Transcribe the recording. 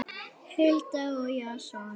Hulda og Jason.